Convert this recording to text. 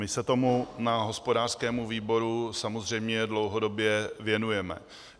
My se tomu na hospodářském výboru samozřejmě dlouhodobě věnujeme.